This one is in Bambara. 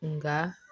Nka